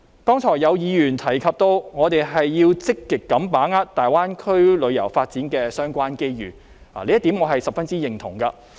剛才有議員提及，我們要積極把握大灣區旅遊發展的相關機遇，這點我十分認同。